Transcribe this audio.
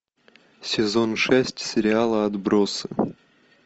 сезон шесть сериала отбросы